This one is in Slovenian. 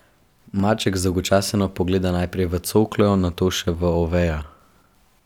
Maček zdolgočaseno pogleda najprej v coklo, nato še v Oveja.